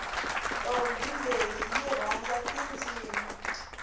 ntombhi leyi yi rhandza tindzimi